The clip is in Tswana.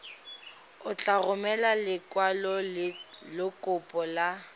o tla romela lekwalokopo la